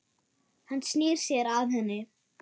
Hann snýr sér að henni.